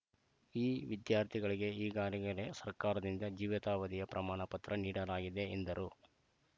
ಈ ವಿದ್ಯಾರ್ಥಿಗಳಿಗೆ ಈಗಾಗಲೇ ಸರ್ಕಾರದಿಂದ ಜೀವಿತ್ಯವಧಿಯ ಪ್ರಮಾಣ ಪತ್ರ ನೀಡಲಾಗಿದೆ ಎಂದರು